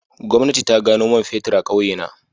Gwamnati ta gano man fetur a kauyena